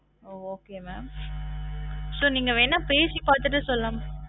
ஒ Okay mam so நீங்க வேணாம் பேசி பார்த்துட்டு சொல்லலா